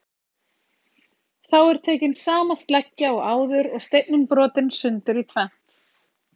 þá er tekin sama sleggja og áður og steinninn brotinn sundur í tvennt